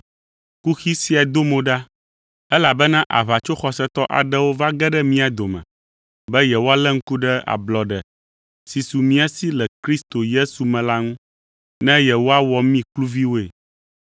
Kuxi sia do mo ɖa, elabena aʋatsoxɔsetɔ aɖewo va ge ɖe mía dome, be yewoalé ŋku ɖe ablɔɖe, si su mía si le Kristo Yesu me la ŋu, ne yewoawɔ mí kluviwoe.